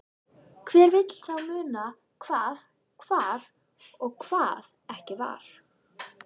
Hver vill þá muna hvað var og hvað ekki var.